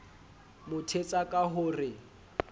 mo thetsa ka ho re